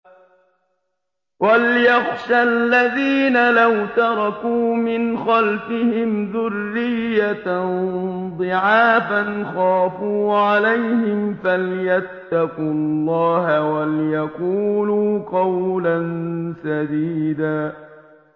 وَلْيَخْشَ الَّذِينَ لَوْ تَرَكُوا مِنْ خَلْفِهِمْ ذُرِّيَّةً ضِعَافًا خَافُوا عَلَيْهِمْ فَلْيَتَّقُوا اللَّهَ وَلْيَقُولُوا قَوْلًا سَدِيدًا